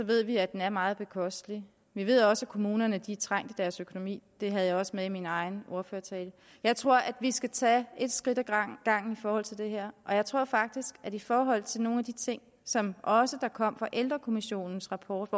ved vi at den er meget bekostelig vi ved også at kommunerne er trængt i deres økonomi det havde jeg også med i min egen ordførertale jeg tror at vi skal tage et skridt ad gangen i forhold til det her og jeg tror faktisk at i forhold til nogle af de ting som kom fra ældrekommissionens rapport